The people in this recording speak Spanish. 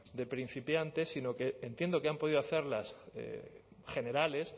de principiante sino que entiendo que han podido hacerlas generales